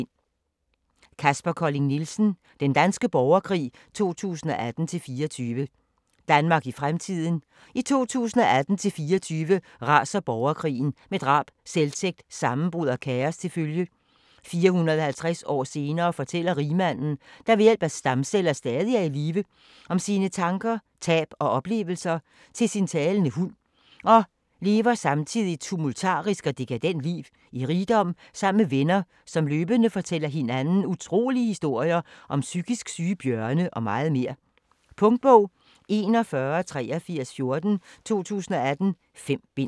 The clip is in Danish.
Colling Nielsen, Kaspar: Den danske borgerkrig 2018-24 Danmark i fremtiden. I 2018-24 raser borgerkrigen med drab, selvtægt, sammenbrud og kaos til følge. 450 år senere fortæller rigmanden, der ved hjælp af stamceller stadig er i live, om sine tanker, tab og oplevelser til sin talende hund og lever samtidig et tumultarisk og dekadent liv i rigdom sammen med venner, som løbende fortæller hinanden utrolige historier om psykisk syge bjørne og meget mere. Punktbog 418314 2018. 5 bind.